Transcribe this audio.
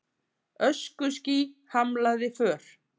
Öskuský hamlaði för